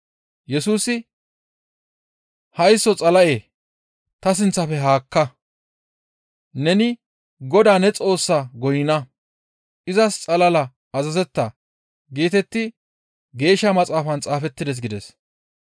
Yesusi, «Haysso Xala7e! Ta sinththafe ne haakka! ‹Neni Godaa ne Xoossaas goynna; izas xalala azazetta› geetetti Geeshsha maxaafan xaafettides» gides.